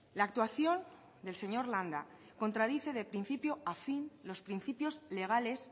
la actuación del señor landa contradice de principio a fin los principios legales